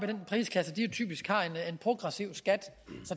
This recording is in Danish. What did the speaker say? den prisklasse typisk har en progressiv skat